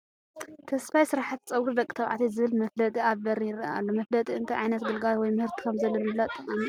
ተስፋይ ስራሕቲ ፀጉሪ ደቂ ተባዕትዮ ዝብል መፋለጢ ኣብ በሪ ይርአ ኣሎ፡፡ መፋለጢ እንታይ ዓይነት ግልጋሎት ወይ ምህርቲ ከምዘሉ ንምፍላጥ ጠቓሚ እዩ፡፡